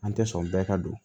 An tɛ sɔn bɛɛ ka don